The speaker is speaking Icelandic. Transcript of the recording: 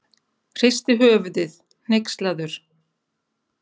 Hristi höfuðið, hneykslaður.